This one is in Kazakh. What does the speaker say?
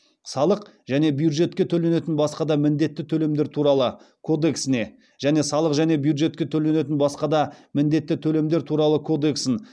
салық және бюджетке төленетін басқа да міндетті төлемдер туралы кодексіне және салық және бюджетке төленетін басқа да міндетті төлемдер туралы кодексін